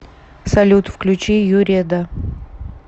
салют включи юреда